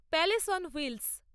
palace on wheels